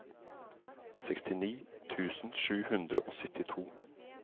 sekstini tusen sju hundre og syttito